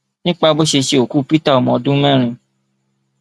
nípa bó ṣe ṣe òkú peter ọmọ ọdún mẹrin